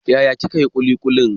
Yaya ne kin hi kulikulin?